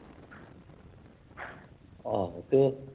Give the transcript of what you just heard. ਆਹੋ ਫੇਰ